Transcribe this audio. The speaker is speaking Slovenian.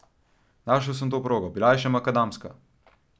Našel sem to progo, bila je še makadamska.